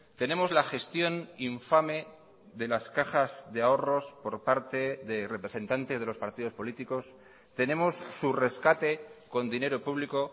tenemos la gestión infame de las cajas de ahorros por parte de representantes de los partidos políticos tenemos su rescate con dinero público